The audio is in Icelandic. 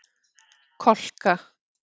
Kolka